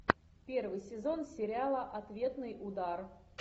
первый сезон сериала ответный удар